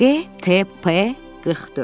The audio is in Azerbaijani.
DT P44.